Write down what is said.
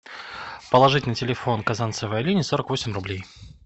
положить на телефон казанцевой алине сорок восемь рублей